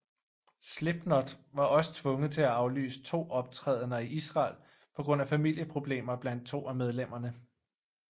Slipknot var også tvunget til at aflyse to optrædener i Israel på grund af familieproblemer blandt to af medlemmerne